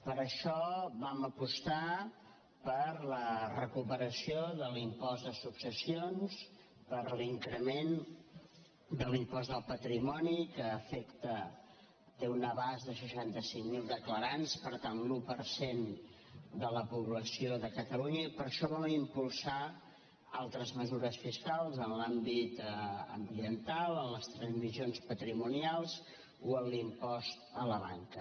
per això vam apostar per la recuperació de l’impost de successions per l’increment de l’impost del patrimoni que té un abast de seixanta cinc mil declarants per tant l’un per cent de la població de catalunya i per això vam impulsar altres mesures fiscals en l’àmbit ambiental en les transmissions patrimonials o en l’impost a la banca